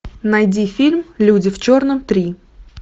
найди фильм люди в черном три